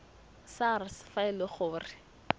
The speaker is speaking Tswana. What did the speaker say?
sars fa e le gore